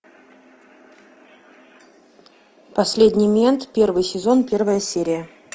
последний мент первый сезон первая серия